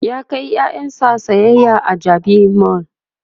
ya kai ƴaƴansa sayayya a jabi mall